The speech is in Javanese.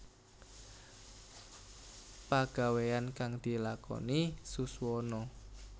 Pagaweyan kang dilakoni Suswono